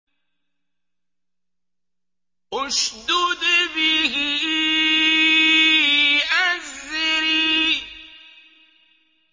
اشْدُدْ بِهِ أَزْرِي